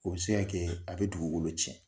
O bɛ se k'a kɛ a bɛ dugukolo cɛn.